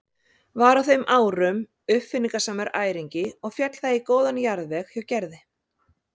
Var á þeim árum uppáfinningasamur æringi og féll það í góðan jarðveg hjá Gerði.